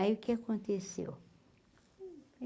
Aí o que aconteceu?